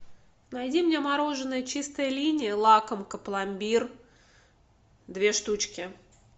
найди мне мороженое чистая линия лакомка пломбир две штучки